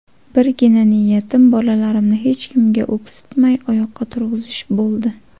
Birgina niyatim bolalarimni hech kimga o‘ksitmay, oyoqqa turg‘izish bo‘ldi.